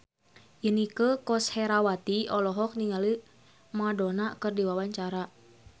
Inneke Koesherawati olohok ningali Madonna keur diwawancara